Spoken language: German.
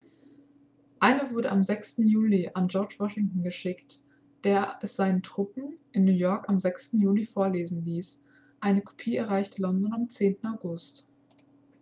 eine wurde am 6. juli an george washington geschickt der es seinen truppen in new york am 9. juli vorlesen ließ eine kopie erreichte london am 10. august